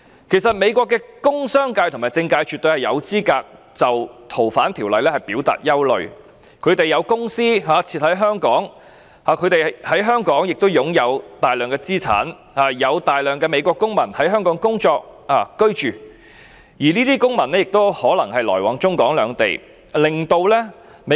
其實，美國的工商界和政界絕對有資格就該條例的修訂表達憂慮，他們有公司設於香港，在香港亦擁有大量資產，有大量的美國公民在香港工作、居住，而這些公民也可能來往中港兩地。